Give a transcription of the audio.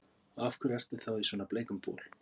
Og af hverju ertu þá í svona bleikum bol?